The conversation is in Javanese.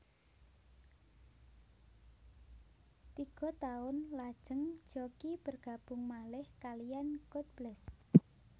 Tiga taun lajeng Jockie bergabung malih kaliyan God Bless